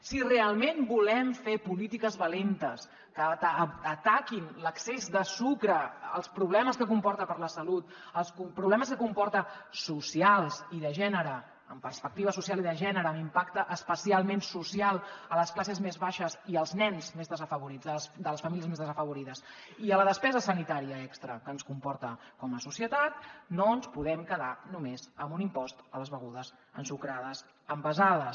si realment volem fer polítiques valentes que ataquin l’excés de sucre els problemes que comporta per a la salut els problemes que comporta socials i de gènere amb perspectiva social i de gènere l’impacte espacialment social a les classes més baixes i als nens més desafavorits de les famílies més desafavorides i a la despesa sanitària extra que ens comporta com a societat no ens podem quedar només amb un impost a les begudes ensucrades envasades